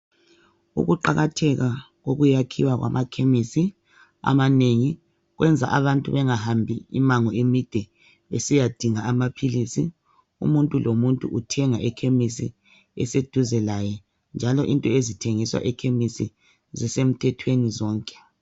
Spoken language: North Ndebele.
Ukuqalatheka kokuyakhiwa kwamakhenisi amanengi kwenza abantu bengahambi imango emide besiya dinga amaphilisi umuntu lomuntu uthenga ekhemisi eseduze laye njalo into ezithengiswa ekhemisi zisemthethweni zonke